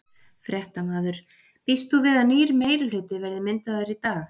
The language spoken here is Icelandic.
Fréttamaður: Býst þú við að nýr meirihluti verði myndaður í dag?